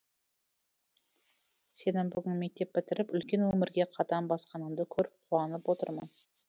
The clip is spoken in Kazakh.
сенің бүгін мектеп бітіріп үлкен өмірге қадам басқаныңды көріп қуанып отырмын